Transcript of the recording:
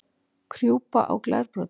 Krjúpa á glerbrotum?